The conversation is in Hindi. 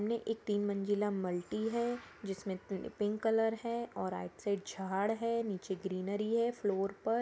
इनमे एक तीन मंजिला मल्टी है जिसमे पिंक कलर है और राईट साइड झाड़ है और नीचे ग्रीनरी है फ्लोर पर।